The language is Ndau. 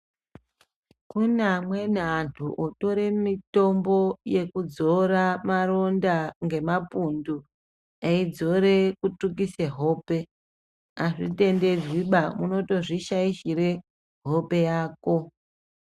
Kune amweni antu otore mitombo yeku dzora maronda nge mapundu ei dzore kutsvukise hope azvi tenderwi ba unotozvi shaishere hope yako.